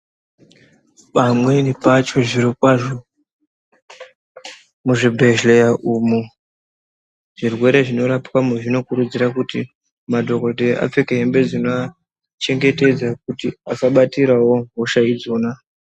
Pamweni pacho zvirokwazvo muzvibhedhlera umu zvirwere zvinorapwamo zvinokuridzira kuti madhokoteya apfeke hembe dzinova chengetedza kuti asabatira hosha idzona.